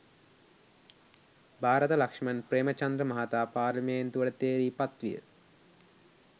භාරත ලක්ෂ්මන් ප්‍රේමචන්ද්‍ර මහතා පාර්ලිමේන්තුවට තේරී පත්විය